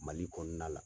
Mali kɔnɔna la